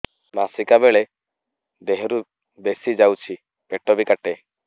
ମାସିକା ବେଳେ ଦିହରୁ ବେଶି ଯାଉଛି ପେଟ ବି କାଟେ